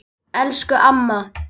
Elsku amma.